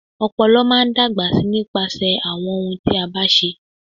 Ọ̀pọ̀lọ́pọ̀ máa n dágbà sí nípasẹ̀ àwọn ohun tí a bá ń ṣe.